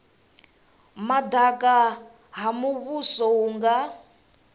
madaka ha muvhuso hu nga